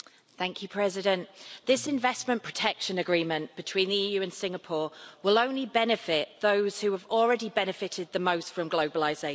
Mr President, this Investment Protection Agreement between the EU and Singapore will benefit only those who have already benefited the most from globalisation.